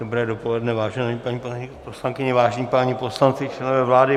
Dobré dopoledne, vážené paní poslankyně, vážení páni poslanci, členové vlády.